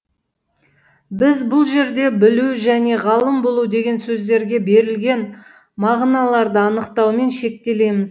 біз бұл жерде білу және ғалым болу деген сөздерге берілген мағыналарды анықтаумен шектелеміз